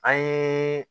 An ye